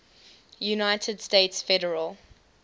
united states federal